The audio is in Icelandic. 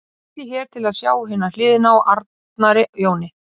Smellið hér til að sjá hina hliðina á Arnari Jóni